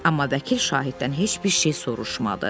Amma vəkil şahiddən heç bir şey soruşmadı.